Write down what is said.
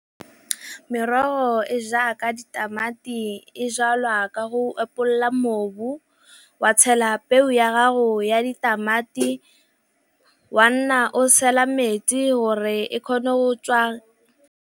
Merogo e jaaka ditamati e jalwa ka go epolola mobu, wa tshela peo ya gago ya ditamati, wa nna o tshela metsi gore e kgone go tswa.